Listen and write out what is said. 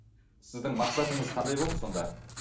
сіздің мақсатыңыз қандай болды сонда